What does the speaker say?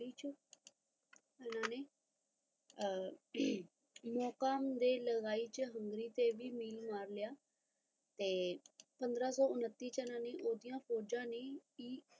ਪੰਦਰਾ ਸੋ ਛੱਬੀ ਚ ਉਨ੍ਹਾਂ ਨੇ ਮੋਕਮ ਦੇ ਲਗਾਈ ਚ ਹੰਗਰੀ ਤੇ ਮਿਲਮਾਰ ਲਿਆ ਤੇ ਪੰਦਰਾ ਸੋ ਉੱਨਤੀ ਚ ਇਨ੍ਹਾਂ ਨੇ ਫੋਜਾ